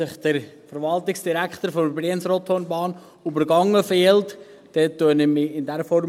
Wenn sich der Verwaltungsdirektor der Brienz-Rothorn-Bahn übergangen fühlt, entschuldige ich mich in dieser Form.